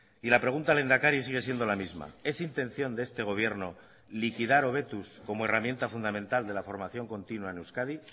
y la pregunta lehendakari sigue siendo la misma es intención de este gobierno liquidar hobetuz como herramienta fundamental de la formación continua en euskadi